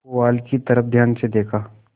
पुआल की तरफ ध्यान से देखा